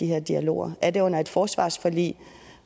her dialog er det under forhandlinger af et forsvarsforlig